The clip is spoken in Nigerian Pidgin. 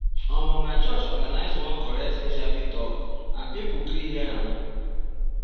omo my church organize one correct hiv talk and people gree hear am.